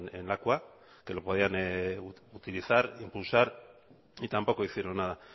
en lakua que lo podían utilizar impulsar y tampoco hicieron nada